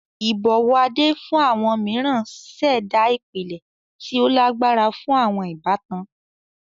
Ibọwọ Ade fun awọn miiran ṣẹda ipilẹ ti o lagbara fun awọn ibatan.